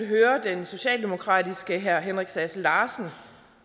hører den socialdemokratiske herre henrik sass larsen